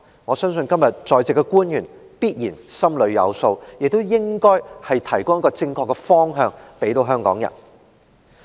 我相信今天在席官員必然心裏有數，亦應該提供正確的方向給香港人。